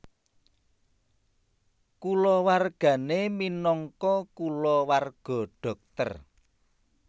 Kulawargane minangka kulawarga dhokter